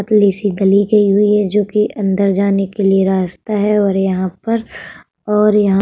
पतली सी गली गयी है जो कि अंदर जाने के लिए रास्ता है और यहाँ पर और यहां --